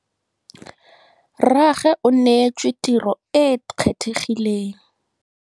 Rrragwe o neêtswe tirô e e kgethegileng.